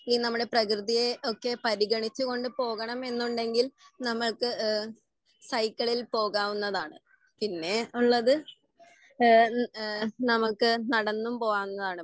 ഈ നമ്മളെ പ്രകൃതിയെ ഒക്കെ പരിഗണിച്ച് കൊണ്ട് പോകണം എന്നുണ്ടെങ്കിൽ നമ്മക്ക് എഹ് സൈക്കളിൽ പോകാവുന്നതാണ്. പിന്നെ ഉള്ളത് ഏഹ് ഉം ഏഹ് നമ്മുക്ക് നടന്നും പോവാങ്ങാണ്.